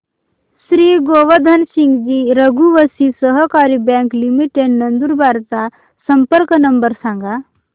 Shri Govardhan Singji Raghuvanshi Sahakari bank limited Nandurbar चा संपर्क number सांगा